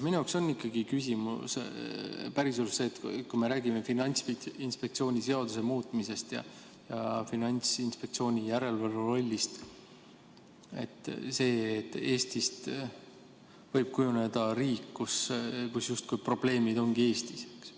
Minu jaoks ikkagi on päriselus küsimus see, et kui me räägime Finantsinspektsiooni seaduse muutmisest ja Finantsinspektsiooni järelevalve rollist, siis Eestist võib kujuneda riik, kus probleemid ongi justkui ainult Eestis.